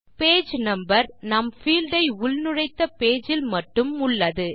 page number நாம் field ஐ உள்நுழைத்த பேஜ் இல் மட்டும் உள்ளது